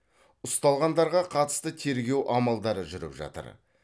ұсталғандарға қатысты тергеу амалдары жүріп жатыр